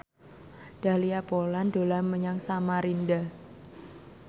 Dahlia Poland dolan menyang Samarinda